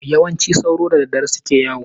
Yawanci sauro da dadadare suke yawo.